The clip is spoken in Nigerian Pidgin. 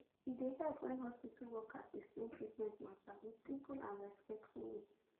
e dey help when hospital workers explain treatment matter with simple and respectful way